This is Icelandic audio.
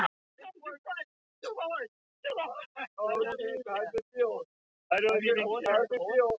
. orðið sér úti um tengiliði.